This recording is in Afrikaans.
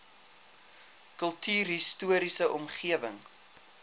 kultuurhis toriese omgewing